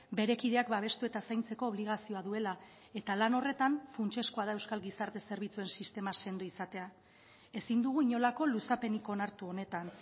bere kideak babestu eta zaintzeko obligazioa duela eta lan horretan funtsezkoa da euskal gizarte zerbitzuen sistema sendo izatea ezin dugu inolako luzapenik onartu honetan